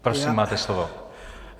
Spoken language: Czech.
Prosím, máte slovo.